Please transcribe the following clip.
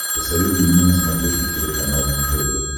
посоветуй мне на смотрешке телеканал нтв